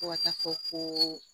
Fo ka taa fɔ ko